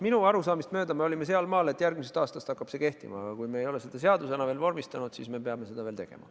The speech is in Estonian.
Minu arusaamist mööda me olime seal maal, et järgmisest aastast hakkab see kehtima, aga kui me ei ole seda veel seadusena vormistanud, siis me peame seda tegema.